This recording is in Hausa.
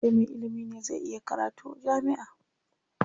Sai me ilimi ne zai iya karatu jami'a.